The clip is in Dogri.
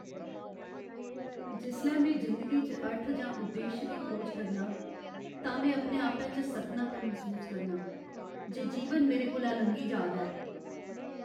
जिसलै में जिंदगी च अर्थ जां उद्देश दी खोज करनां तां में अपने आपै च सक्खनापन मसूस करनां जे जीवन मेरे कोला लंघी जा दा ऐ।